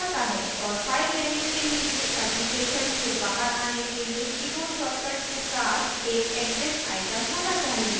और file menu के नीचे application से बाहर an के लिए keyboard shortcut के साथ एक exit item होना चाहिए